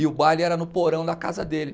E o baile era no porão da casa dele.